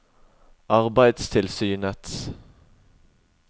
arbeidstilsynets